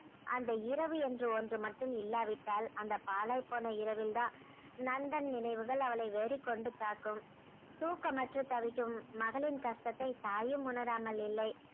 அந்த இரவு என்று ஒன்று மட்டும் இல்லாவிட்டால் அந்த பாழாய் போன இரவில்தான் நந்தன் நினைவுகள் அவளை வெறிக்கொண்டு தாக்கும் தூக்கமற்று தவிக்கும் மகளின் கஷ்டத்தை தாயும் உணராமல் இல்லை